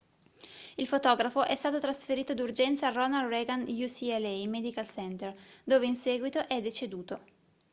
il fotografo è stato trasferito d'urgenza al ronald reagan ucla medical center dove in seguito è deceduto